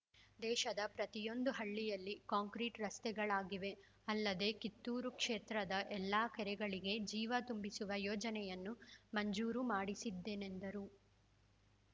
ದೇಶದ ಪ್ರತಿಯೊಂದು ಹಳ್ಳಿಯಲ್ಲಿ ಕಾಂಕ್ರೀಟ್ ರಸ್ತೆಗಳಾಗಿವೆ ಅದಲ್ಲದೇ ಕಿತ್ತೂರ ಕ್ಷೇತ್ರದ ಎಲ್ಲ ಕೆರೆಗಳಿಗೆ ಜೀವ ತುಂಬಿಸುವ ಯೋಜನೆಯನ್ನು ಮಂಜೂರು ಮಾಡಿಸಿದ್ದೆನೆಂದರು